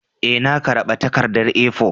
Ee, na karaba takarda A4.